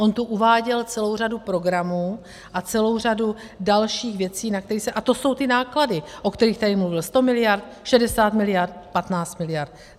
On tu uváděl celou řadu programů a celou řadu dalších věcí - a to jsou ty náklady, o kterých tady mluvil, 100 miliard, 60 miliard, 15 miliard.